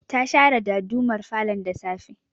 Ta share dadumar falon da safe